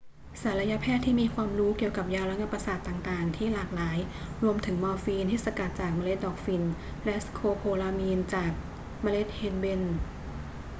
ศัลยแพทย์มีความรู้เกี่ยวกับยาระงับประสาทต่าง ๆ ที่หลากหลาย รวมถึงมอร์ฟีนที่สกัดจากเมล็ดดอกฝิ่น และสโคโพลามีนจากเมล็ดเฮนเบน